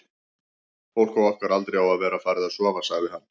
fólk á okkar aldri á að vera farið að sofa, sagði hann.